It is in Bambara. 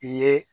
I ye